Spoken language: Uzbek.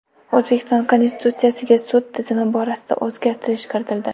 O‘zbekiston Konstitutsiyasiga sud tizimi borasida o‘zgartirish kiritildi.